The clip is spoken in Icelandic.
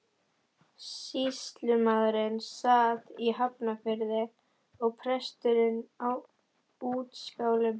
Sýslumaðurinn sat í Hafnarfirði og presturinn á Útskálum.